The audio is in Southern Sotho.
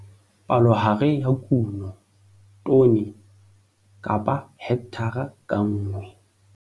Palohare ya kuno, tone - hekthara ka nngwe.